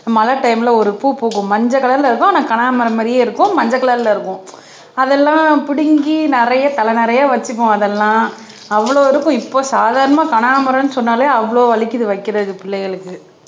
மழை டைம்ல ஒரு பூ பூக்கும் மஞ்சள் கலர்ல இருக்கும் ஆனா கனா மரம் மாறியே இருக்கும் மஞ்சள் கலர்ல இருக்கும் அதெல்லாம் புடுங்கி நிறைய தல நிறைய வச்சுப்போம் அதெல்லாம் அவ்வளவு இருக்கும் இப்ப சாதாரணமா கனாம்பரம்ன்னு சொன்னாலே அவ்வளவு வலிக்குது வைக்கிறதுக்கு பிள்ளைகளுக்கு